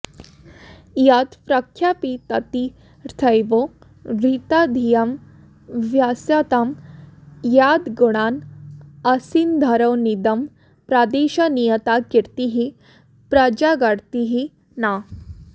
यत् प्रख्यापिततीर्थवर्धितधियामभ्यस्यतां यद्गुणान् आसिन्धोरनिदं प्रदेशनियता कीर्तिः प्रजागर्ति नः